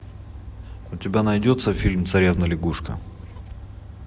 у тебя найдется фильм царевна лягушка